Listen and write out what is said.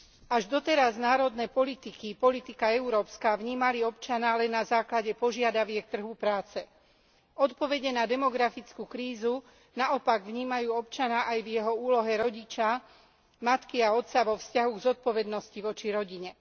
Až doteraz národné politiky a politika európska vnímali občana len na základe požiadaviek trhu práce. Odpovede na demografickú krízu naopak vnímajú občana aj v jeho úlohe rodiča, matky a otca vo vzťahu zodpovednosti voči rodine.